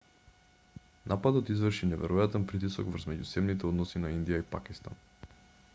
нападот изврши неверојатен притисок врз меѓусебните односи на индија и пакистан